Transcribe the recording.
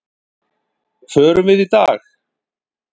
Förum við í dag?